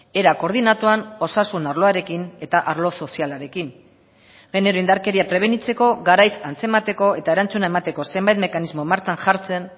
era koordinatuan osasun arloarekin eta arlo sozialarekin genero indarkeria prebenitzeko garaiz antzemateko eta erantzuna emateko zenbait mekanismo martxan jartzen